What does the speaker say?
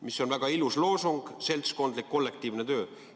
See on väga ilus loosung – seltskondlik, kollektiivne töö.